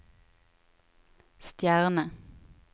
stjerne